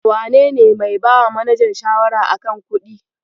Wanene mai bawa manajan shawara a kan kuɗi?